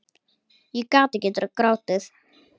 Ég gat ekki grátið.